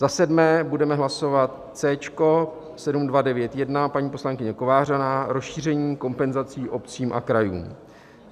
Za sedmé budeme hlasovat C - 7291 - paní poslankyně Kovářová, rozšíření kompenzací obcím a krajům.